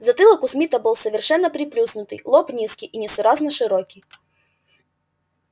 затылок у смита был совершенно приплюснутый лоб низкий и несуразно широкий